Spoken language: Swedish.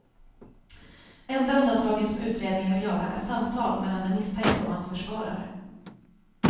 Enda undantaget som utredningen vill göra är samtal mellan den misstänkte och hans försvarare.